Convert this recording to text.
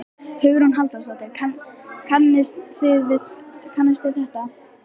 Hugrún Halldórsdóttir: Kannist við þetta?